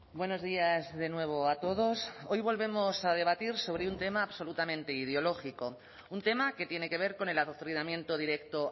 buenos días de nuevo a todos hoy volvemos a debatir sobre un tema absolutamente ideológico un tema que tiene que ver con el adoctrinamiento directo